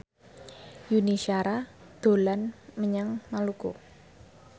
Yuni Shara dolan menyang Maluku